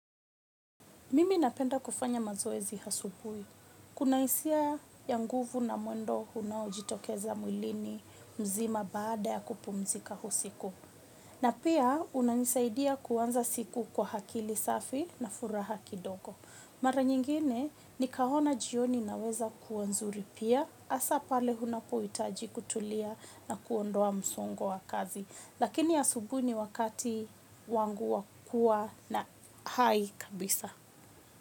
Mimi napenda kufanya mazoezi asubuhi. Kuna hisia ya nguvu na mwendo unaujitokeza mwilini mzima baada ya kupumzika usiku. Na pia unanisaidia kuanza siku kwa akili safi na furaha kidogo. Mara nyingine nikaona jioni inaeza kuwa nzuri pia hasa pale unapohitaji kutulia na kuondoa msongo wa kazi. Lakini asubuhi ni wakati wangu wa kuwa na hai kabisa.